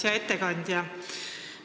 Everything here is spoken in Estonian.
Hea ettekandja!